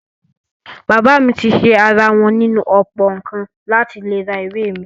Bàbá mi ti ṣẹ́ ara wọn nínú ọ̀pọ̀ nǹkan láti lè ra ìwé mi.